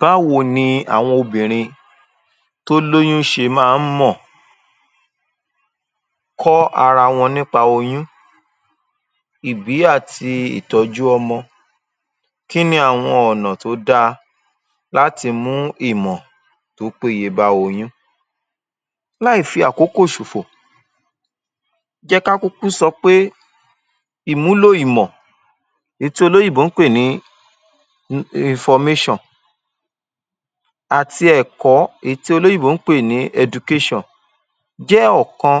Báwo ni àwọn obìnrin tó lóyún ṣe máa ń mọ̀ kọ́ ara wọn nípa oyún, ìbí àti ìtọ́jú ọmọ? Kí ni àwọn ọ̀nà tó dá a láti mú ìmọ̀ tó péye bá oyún? Láì fi àkokò ṣòfò jẹ́ ká kúkú sọ pé ìmúlò ìmọ̀ èyí tí olóyìnbó ń pè ní um information àti ẹ̀kọ́ èyí tí olóyìnbó ń pè ní education jẹ́ ọ̀kan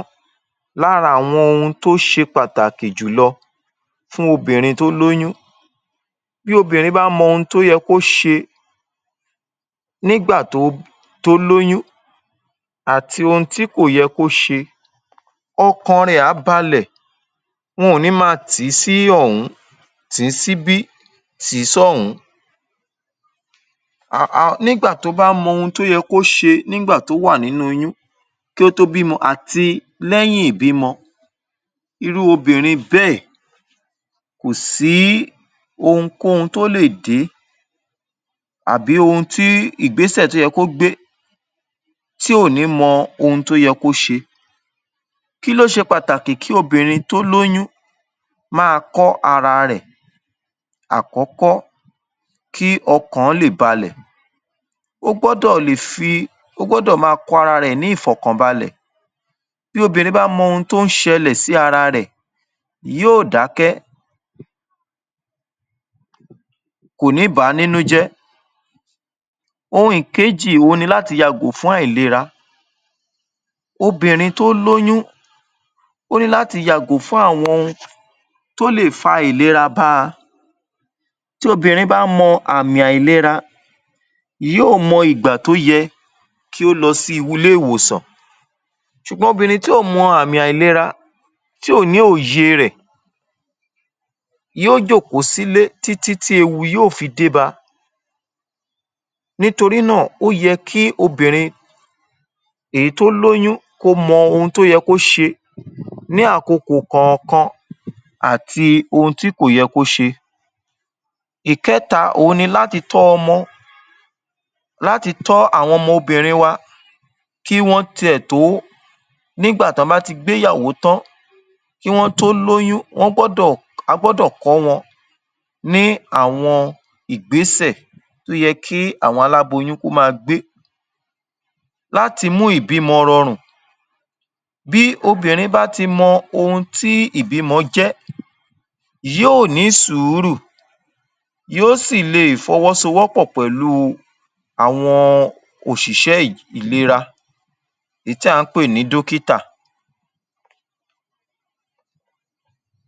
lára àwọn ohun tó ṣe pàtàkì jùlọ fún obìnrin tó lóyún. Bí obìnrin bá mọ ohun tó yẹ kó ṣe nígbà tó lóyún àti ohun tí kò yẹ kó ṣe ọkàn rẹ̀ á balẹ̀ wọn ò ní ma tì í sí ọ̀hún, tì í síbí, tì í sọ́hún-ún. um um Nígbà tó bá mọ ohun tó yẹ kó ṣe nígbà tó wà nínú oyún kó tó bímọ àti lẹ́yìn ìbímọ irú obìnrin bẹ́ẹ̀ kò sí ohunkóhun tó lè dé tàbí ìgbésẹ̀ tí ó yẹ kó gbé tí ò ní mọ ohun tó yẹ kó ṣe. Kí ló ṣe pàtàkì kí obìnrin tó lóyún máa kọ́ ara rẹ̀? Àkọ́kọ́ kí ọkàn lè balẹ̀- ó gbọ́dọ̀ lè fi ó gbọ́dọ̀ máa kọ́ ara rẹ̀ ní ìfọ̀kànbalẹ̀ bí obìnrin bá mọ ohun tó ń ṣẹlẹ̀ sí ara rẹ̀ yóò dákẹ́ kò ní bà á nínú jẹ́. Ohun ìkéjì òhun ni láti yàgò fún àìlera obìnrin tó lóyún ó ní láti yàgò fún àwọn ohun tó lè fa àìlera bá a tí obìnrin bá mọ àmì àìlera yí ò mọ ìgbà tó yẹ kí ó lọ ilé ìwòsàn ṣùgbọ́n obìnrin tí ò mọ àmì àìlera tí ò ní òye rẹ̀ yó jòkó sílé títí tí ewu yóò fi dé ba. Nítorí náà, ó yẹ kí obìnrin èyí tó lóyún ko mọ ohun tó yẹ kó ṣe ní àkokò kọ̀ọ̀kan àti ohun tí kò yẹ kó ṣe. Ìkẹ́ta òhun ni láti tọ́ àwọn ọmọ wa láti tọ́ àwọn ọmọ obìnrin wa kí wọ́n ti è tó nígbà tí wọ́n bá ti gbéyàwó tán kí wọ́n tó lóyún wọ́n gbọ́dọ̀ a gbọ́dọ̀ kọ́ wọn ní àwọn ìgbésẹ̀ tó yẹ kí àwọn aláboyún kó máa gbé láti mú ìbímọ rọrùn. Bí obìnrin bá ti mọ ohun tí ìbímọ jẹ́ yí ò ní sùúrù yó sì lè fọwọ́sowọ́pọ̀ pẹ̀lú u àwọn òṣìṣẹ́ ìera èyí tí à ń pè ní dókítà.